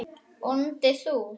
BÓNDI: Þú?